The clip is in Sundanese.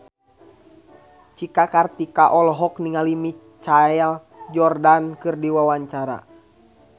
Cika Kartika olohok ningali Michael Jordan keur diwawancara